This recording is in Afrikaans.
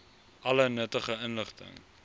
alle nuttige inligting